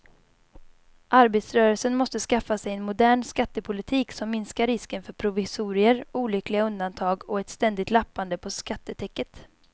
Arbetarrörelsen måste skaffa sig en modern skattepolitik som minskar risken för provisorier, olyckliga undantag och ett ständigt lappande på skattetäcket.